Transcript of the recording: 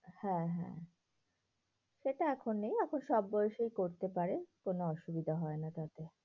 হ্যাঁ হ্যাঁ, সেটা এখন নেই এখন সব বয়সেই করতে পারে কোনো অসুবিধা হয়না এখন।